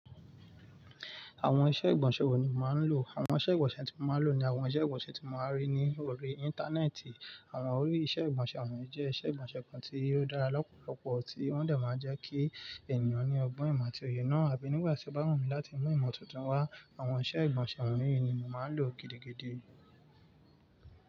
Àwọn iṣẹ́ ìgbọ̀nsẹ̀ wo ni màá n lo? Àwọn iṣẹ́ ìgbọ̀nsẹ̀ tí mo máa ń lò ni àwọn iṣẹ́ ìgbọ̀nsẹ̀ tí mo máa ń rí ní orí Íńtánẹ́ẹ̀tì. Àwọn orí iṣẹ́ ìgbọ̀nsẹ̀ wọ̀nyí jẹ́ iṣẹ́ ìgbọ̀nsẹ̀ kan tí ó dára lọ́pọ̀lọpọ̀ tí wọ́n dẹ̀ máa ń jẹ́ kí ènìyàn ní ọgbọ́n ìmọ̀ àti òye náà, àbí nígbà tí ó bá wù mí láti mú ìmọ̀ tuntun wá, àwọn iṣẹ́ ìgbọ̀nsẹ̀ wọ̀nyí ni màá ń lò gidi gidí.